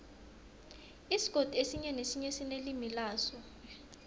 isigodi esinye nesinye sinelimi laso